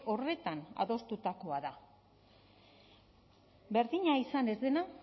horretan adostutakoa da berdina izan ez dena